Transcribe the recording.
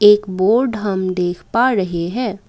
एक बोर्ड हम देख पा रहे हैं।